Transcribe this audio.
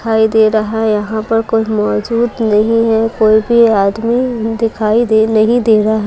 दिखाई दे रहा है यहाँ पर कोई मौजूद नहीं है कोई भी आदमी दिखाई दे नहीं दे रहा --